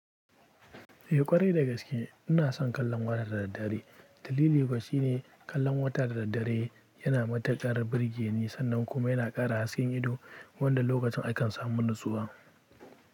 Eh ƙwarai dagaske ina son kallon waya da daddare. Dalili kuwa shine kallon wata da daddare yana mata ƙarar birge ni sannan kuma yana ƙara hasken ido wanda lokacin akan samu natsuwa.